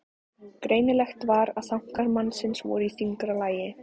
Greinilegt var að þankar mannsins voru í þyngra lagi.